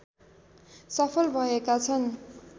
सफल भएका छन्